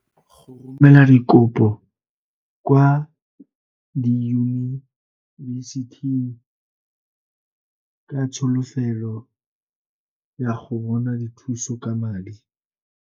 O ne gape a simolola go romela dikopo kwa diyunibesithing ka tsholofelo ya go bona dithuso ka madi.